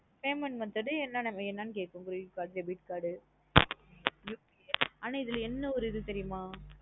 Payment method என்ன என்ன வேணாம் கேக்குது credit card debit card uh ஆனா இதுல என்ன ஓரு இது தெரியுமா?